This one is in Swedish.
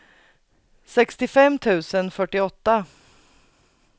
sextiofem tusen fyrtioåtta